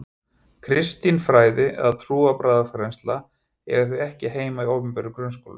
Kristin fræði eða trúarbragðafræðsla eigi því ekki heima í opinberum grunnskólum.